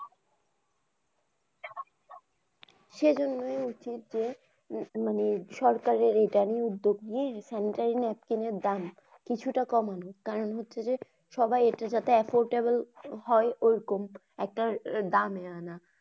সেই জন্যেই হচ্ছে যে মানে সরকারের এইটা নিয়ে উদ্যোগ নিয়ে sanitary napkin দাম কিছুটা কমানো। কারণ হচ্ছে যে সবাই ইটা যাতে affordable হয় ওইরকম একটা দামে আনা।